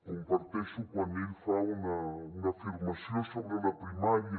comparteixo quan ell fa una afirmació sobre la primària